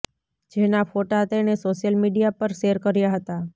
જેના ફોટા તેણે સોશિયલ મીડિયા પર શેર કર્યા હતા